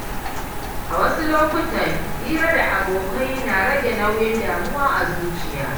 A wasu lokuta hira da abokai na rage nauyin damuwa a zuciya.